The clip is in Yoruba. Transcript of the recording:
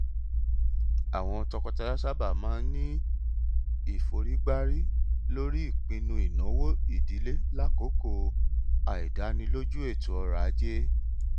àwọn tọkọtaya sábà máa ní ìforígbárí lórí ìpinnu ìnáwó ìdílé lákòókò àìdánilójú ètò ọrọ ajé